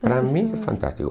Para mim é fantástico.